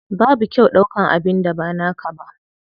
Babu kyau ɗaukan abin da ba naka ba.